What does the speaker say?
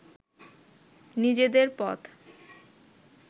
নিজেদের পথ